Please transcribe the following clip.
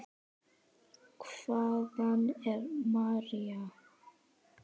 Hvaðan er María?